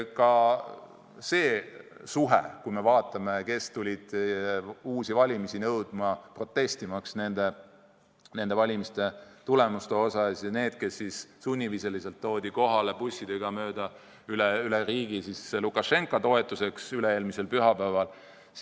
Vaatame, kui paljud tulid uusi valimisi nõudma, protestimaks nende valimiste tulemuste vastu, ja kui palju oli neid, kes toodi sunniviisiliselt bussidega üle riigi kohale Lukašenka toetuseks üle-eelmisel pühapäeval.